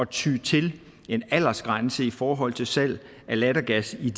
ty til en aldersgrænse i forhold til salg af lattergas i